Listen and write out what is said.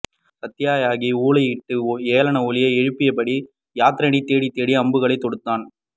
சாத்யகி ஊளையிட்டு ஏளன ஒலி எழுப்பியபடி ஜயத்ரதனை தேடித் தேடி அம்புகளை தொடுத்தான்